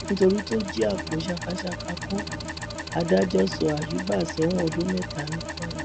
nítorí tó jí àpò sàkàsàkà kó adájọ sọ àyùbá sẹwọn ọdún mẹta ní kwara